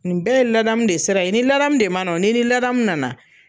Nin bɛɛ ye ladamu de sira ye. I ni ladamu de ma na wo, ni n'i ladamu nana